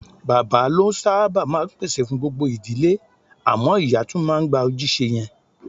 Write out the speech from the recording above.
Bàbá ló sábà máa ń pèsè fún gbogbo ìdílé, àmọ́ ìyá tún máa ń gba ojúṣe yẹn.